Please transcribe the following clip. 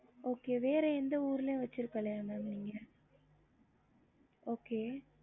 வேற வந்து சென்னைல இருக்கு ம